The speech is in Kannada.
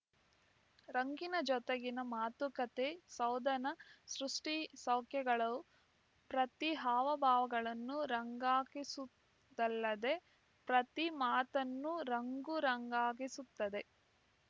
ರಂಗಿನ ಜೊತೆಗಿನ ಮಾತುಕತೆ ಸೌಧನಸೃ ಷ್ಟಿಸೌಖ್ಯಗಳು ಪ್ರತಿ ಹಾವಭಾವಗಳನ್ನು ರಂಗಾಗಿಸುವುದಲ್ಲದೆ ಪ್ರತಿ ಮಾತನ್ನೂ ರಂಗು ರಂಗಾಗಿಸುತ್ತದೆ